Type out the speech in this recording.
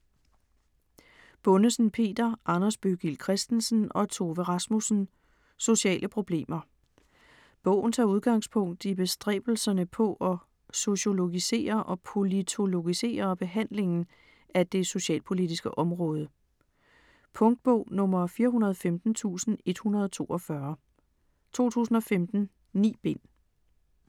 Bundesen, Peter, Anders Bøggild Christensen og Tove Rasmussen: Sociale problemer Bogen tager udgangspunkt i bestræbelserne på at sociologisere og politologisere behandlingen af det socialpolitiske område. Punktbog 415142 2015. 9 bind.